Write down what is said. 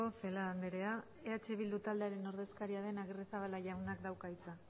celaá andrea eh bildu taldearen ordezkaria den agirrezabala jaunak dauka hitza